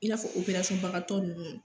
I n'a fɔ bagatɔ ninnu